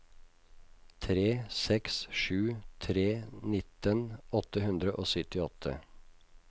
tre seks sju tre nitten åtte hundre og syttiåtte